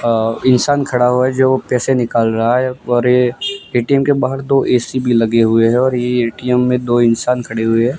अअ इंसान खड़ा हुआ है जो पैसे निकल रहा है और ये ए_टी_एम के बाहर दो ए_सी लगा हुआ है और ये ए_टी_एम में दो इंसान खड़े हुए है।